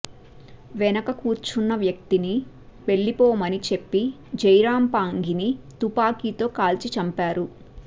వెనుకకూర్చున్న వ్యక్తిని వెళ్లిపోమని చెప్పి జైరాం పాంగిని తుపాకితో కాల్చి చంపారు